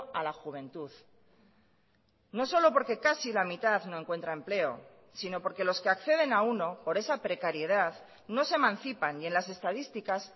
a la juventud no solo por que casi la mitad no encuentra empleo si no porque los que acceden a uno por esa precariedad no se emancipan y en las estadísticas